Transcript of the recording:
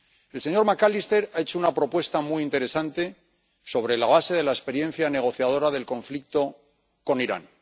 El señor McAllister ha hecho una propuesta muy interesante sobre la base de la experiencia negociadora del conflicto con Irán.